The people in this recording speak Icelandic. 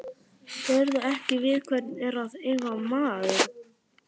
Sérðu ekki við hvern er að eiga maður?